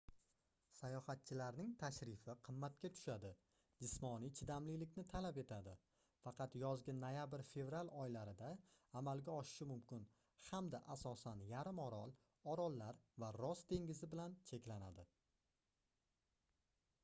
sayohatchilarning tashrifi qimmatga tushadi jismoniy chidamlilikni talab etiladi faqat yozgi noyabr-fevral oylarida amalga oshishi mumkin hamda asosan yarimorol orollar va ross dengizi bilan cheklanadi